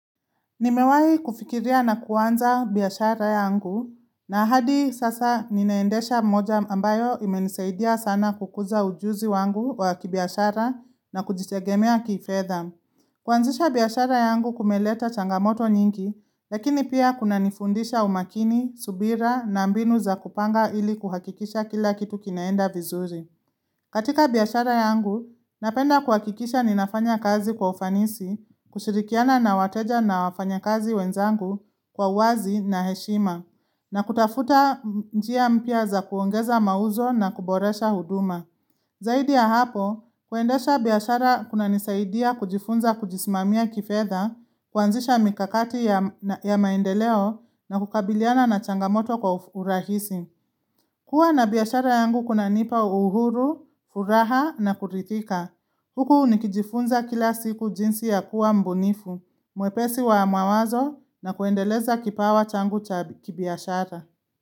Nimewai kufikiria na kuanza biashara yangu na hadi sasa ninaendesha moja ambayo imenisaidia sana kukuza ujuzi wangu wa kibiashara na kujitegemea kifedha kuanzisha biashara yangu kumeleta changamoto nyingi, lakini pia kunanifundisha umakini, subira na mbinu za kupanga ili kuhakikisha kila kitu kinaenda vizuri. Katika biashara yangu, napenda kuhakikisha ninafanya kazi kwa ufanisi, kushirikiana na wateja na wafanya kazi wenzangu kwa wazi na heshima, na kutafuta njia mpya za kuongeza mauzo na kuboresha huduma. Zaidi ya hapo, kuendesha biashara kunanisaidia kujifunza kujisimamia kifedha, kuanzisha mikakati ya maendeleo na kukabiliana na changamoto kwa urahisi. Kua na biyashara yangu kuna nipa uhuru, furaha na kurithika. Huku nikijifunza kila siku jinsi ya kuwa mbunifu, mwepesi wa mawazo na kuendeleza kipawa changu kibiashara.